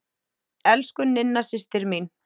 Elsku Ninna systir mín.